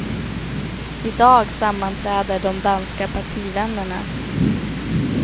I dag sammanträder de danska partivännerna.